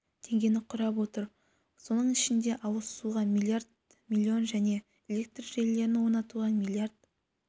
миллион теңгені құрап отыр соның ішінде ауыз суға миллиард миллион және электр желілерін орнатуға миллиард